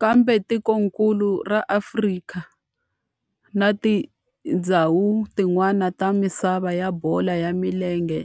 Kambe tikonkulu ra Afrika na tindzhawu tin'wana ta misava ya bolo ya milenge